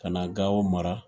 Ka na Gao mara